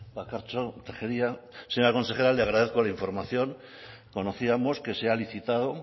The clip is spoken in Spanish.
bakartxo tejeria señora consejera le agradezco la información conocíamos que se ha licitado